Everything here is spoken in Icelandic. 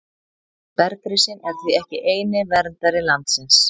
Bergrisinn er því ekki eini verndari landsins.